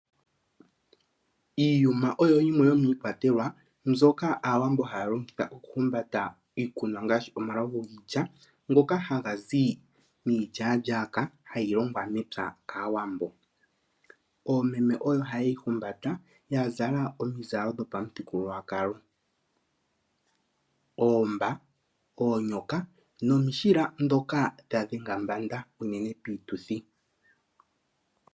Iiyuma oyo yimwe yomiikwatelwa mbyoka aawambo halongitha oku humbata iikunwa ngaashi omalovu giilya, ngoka hagazi miilyalyaka hayi longwa mepya kaawambo. Oomeme oyo hayeyi humbata, yazala oomizala dhopamu thigululwakalo, oomba, oonyoka nomiishila dhoka dha dhenga mbanda uunene piituthi.